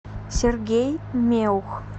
сергей меух